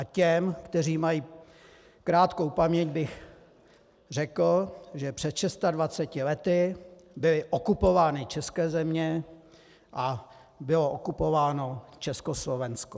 A těm, kteří mají krátkou paměť, bych řekl, že před 26 lety byly okupovány české země a bylo okupováno Československo.